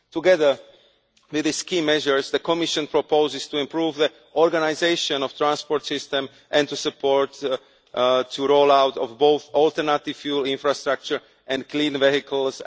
Together with these key measures, the Commission proposes improving the organisation of transport systems and to support the roll out of both alternative fuel infrastructure and clean vehicles.